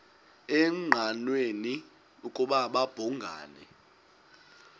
engqanweni ukuba babhungani